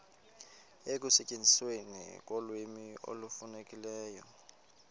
ekusetyenzisweni kolwimi olufanelekileyo